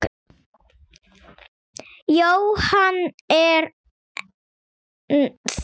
Jóhann: En þú?